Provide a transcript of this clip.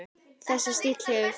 Þessi stíll hefur fylgt mér.